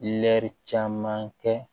Lɛri caman kɛ